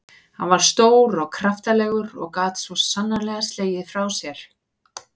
Hann var stór og kraftalegur og gat svo sannarlega slegið frá sér.